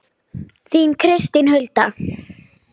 Þín Kristín Hulda.